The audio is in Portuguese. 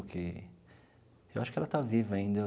Que eu acho que ela está viva ainda eu.